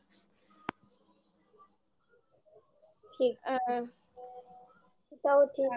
ঠিক আ তাও ঠিক